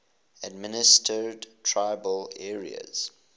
administered tribal areas